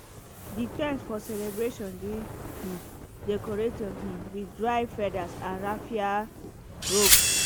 the ten t for celebration dey um decorated um with dried feathers and raffia ropes